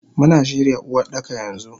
Muna shirya Uwardaka yanxu.